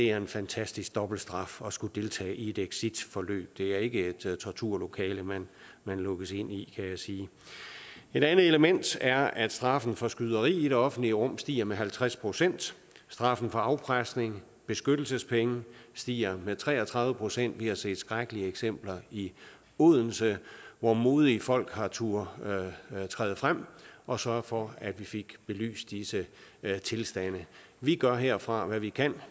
er en fantastisk dobbeltstraf at skulle deltage i et exitforløb det er ikke et torturlokale man lukkes ind i kan jeg sige et andet element er at straffen for skyderi i det offentlige rum stiger med halvtreds procent straffen for afpresning beskyttelsespenge stiger med tre og tredive procent vi har set skrækkelige eksempler i odense hvor modige folk har turdet træde frem og sørge for at vi fik belyst disse tilstande vi gør herfra hvad vi kan